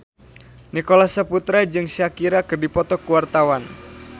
Nicholas Saputra jeung Shakira keur dipoto ku wartawan